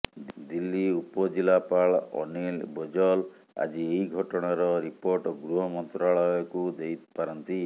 ଦିଲ୍ଲୀ ଉପଜିଲ୍ଲାପାଳ ଅନୀଲ ବୋଜଲ ଆଜି ଏହି ଘଟଣାର ରିପୋର୍ଟ ଗୃହମନ୍ତ୍ରାଳୟକୁ ଦେଇପାରନ୍ତି